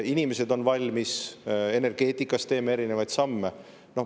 Inimesed on valmis, energeetikas teeme erinevaid samme.